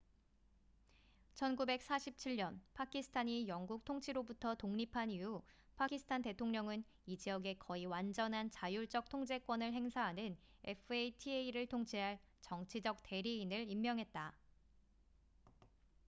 "1947년 파키스탄이 영국 통치로부터 독립한 이후 파키스탄 대통령은 이 지역에 거의 완전한 자율적 통제권을 행사하는 fata를 통치할 "정치적 대리인""을 임명했다.